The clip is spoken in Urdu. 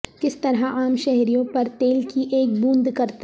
کس طرح عام شہریوں پر تیل کی ایک بوند کرتا